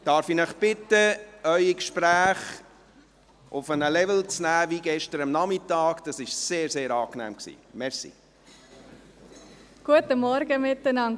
Darf ich Sie bitten, Ihre Gespräche auf den Level von gestern Nachmittag herunterzunehmen?